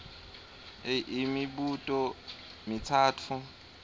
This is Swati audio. a imibuto mitsatfu